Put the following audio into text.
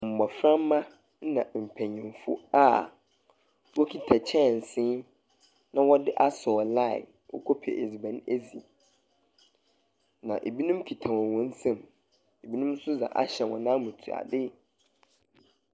Mboframba na mpenyinfo a wokita kyɛnsee na wɔdze asɔw line wɔrokɔpɛ edziban edzi. Na binomkita wɔ hɔn nsamu. Binom nso dze ahyɛ hɔn amotoadze.